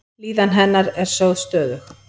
Líðan hennar er sögð stöðug.